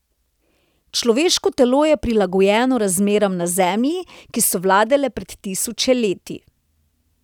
Človeško telo je prilagojeno razmeram na zemlji, ki so vladale pred tisoče leti.